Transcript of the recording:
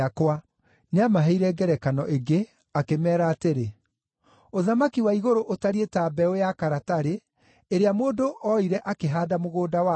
Nĩamaheire ngerekano ĩngĩ, akĩmeera atĩrĩ: “Ũthamaki wa igũrũ ũtariĩ ta mbeũ ya karatarĩ, ĩrĩa mũndũ oire akĩhaanda mũgũnda wake.